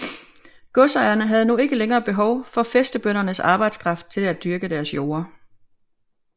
Godsejerne havde nu ikke længere behov for fæstebøndernes arbejdskraft til at dyrke deres jorder